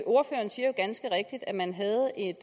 ordføreren siger jo ganske rigtigt at man havde et